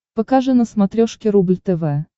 покажи на смотрешке рубль тв